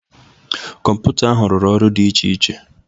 Kọmputa ahụ rụrụ ọrụ dị iche iche.